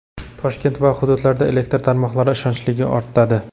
Toshkent va hududlarda elektr tarmoqlari ishonchliligi ortadi.